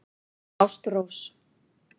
Ástrós